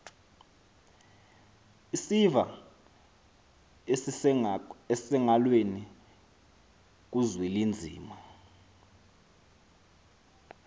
isiva esisengalweni kuzwelinzima